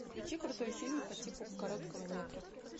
включи крутой фильм по типу короткого метра